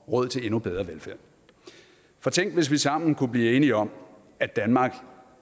råd til endnu bedre velfærd for tænk hvis vi sammen kunne blive enige om at danmark